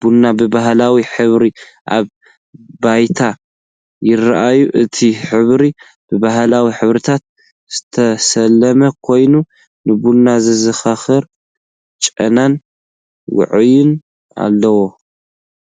ቡን ብባህላዊ ሕብሪ ኣብ ብያቲ ይራኣዩ።። እቲ ሕብሪ ብባህላዊ ሕብርታት ዝተሰለመ ኮይኑ፡ ንቡን ዘዘኻኽር ጨናን ውዑይን ኣለዎ።